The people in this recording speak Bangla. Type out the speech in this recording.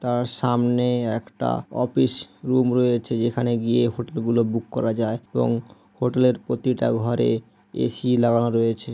তার সামনে একটা অফিস রুম রয়েছে যেখানে গিয়ে হোটেল গুলো বুক করা যায় এবং হোটেল -এর প্রতিটা ঘরে এ সি লাগানো রয়েছে।